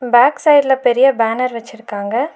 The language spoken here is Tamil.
பேக் சைடுல பெரிய பேனர் வச்சுருக்காங்க.